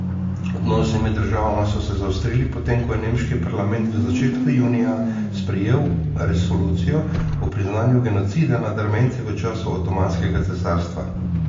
Odnosi med državama so se zaostrili, potem ko je nemški parlament v začetku junija sprejel resolucijo o priznanju genocida nad Armenci v času Otomanskega cesarstva.